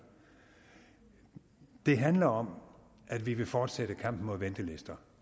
det handler om at vi vil fortsætte kampen mod ventelister